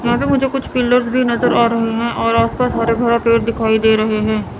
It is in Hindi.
यहां पे मुझे कुछ पिलर्स भी नजर आ रहे हैं और आस पास हरे भरे पेड़ दिखाई दे रहे हैं।